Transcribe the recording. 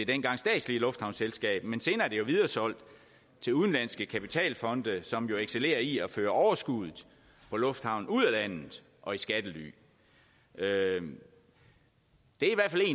dengang statslige lufthavnsselskab men senere er det jo videresolgt til udenlandske kapitalfonde som jo excellerer i at føre overskuddet fra lufthavnen ud af landet og i skattely det er